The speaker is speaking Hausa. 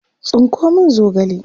tsinko min zogale!